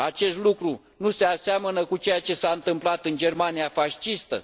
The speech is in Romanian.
Acest lucru nu se aseamănă cu ceea ce s a întâmplat în Germania fascistă?